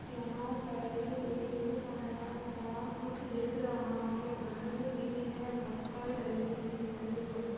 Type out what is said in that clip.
यहाँ पर एक बड़ा सा कुछ दिख रहा हे घर भी हे पत्थर डले हे बड़े-बड़े--